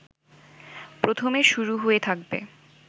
প্রথমে শুরু হয়ে থাকবে